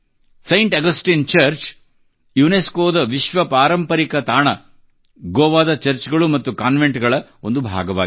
Saint Augustine church UNESCOದ ವಿಶ್ವ ಪಾರಂಪರಿಕ ತಾಣ ಗೋವಾದ ಚರ್ಚ್ ಗಳು ಮತ್ತು ಕಾನ್ವೆಂಟ್ ಗಳ ಒಂದು ಭಾಗವಾಗಿದೆ